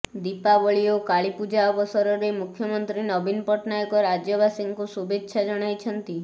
ଦୀପାବଳି ଓ କାଳୀପୂଜା ଅବସରରେ ମୁଖ୍ୟମନ୍ତ୍ରୀ ନବୀନ ପଟ୍ଟନାୟକ ରାଜ୍ୟବାସୀଙ୍କୁ ଶୁଭେଚ୍ଛା ଜଣାଇଛନ୍ତି